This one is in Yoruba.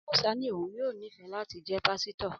Amusa ní òun yóò nífẹ̀ẹ́ láti jẹ́ pásítọ̀